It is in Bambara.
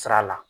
Sira la